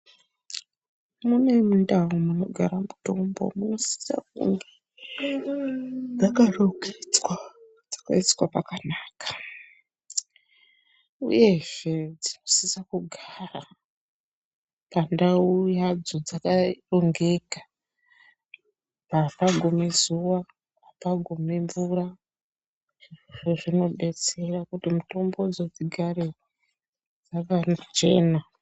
Kune ndau inosisa kugara mitombo yakafukidzwa yakaiswa pakanaka uyezve inosisa kugara pandau yadxo dzakarongeka apagumi zuwa apagumi zuwa zvinodetsera kuti mitombodzo dzigare dzakachena.